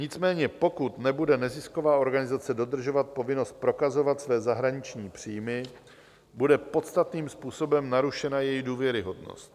Nicméně pokud nebude nezisková organizace dodržovat povinnost prokazovat své zahraniční příjmy, bude podstatným způsobem narušena její důvěryhodnost.